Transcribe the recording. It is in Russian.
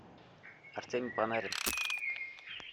артемий панарин